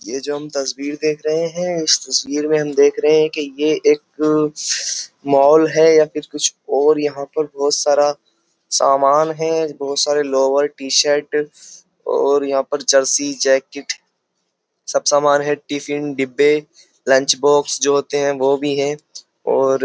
ये जो हम तस्वीर देख रहे हैं तस्वीर में हम देख रहे हैं कि ये एक मॉल है या फिर कुछ और। यहाँ पर बोहोत सारा समान हैं। बोहोत सारे लोवर टी-शर्ट और यहाँ पर जर्सी जैकिट सब सामान हैं। टिफ़िन डिब्बे लंचबॉक्स जो होते हैं वो भी हैं और --